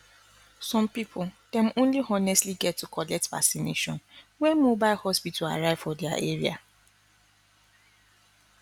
some people dem only honestly get to collect vacination when mobile hospital arrive for their area